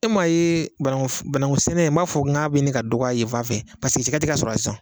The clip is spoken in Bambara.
E maa ye banankusɛnɛ n b'a fɔ k'a bɛ ɲini ka dɔgɔya ye fan fɛ cɛkɛ tɛ ka sɔrɔ sisan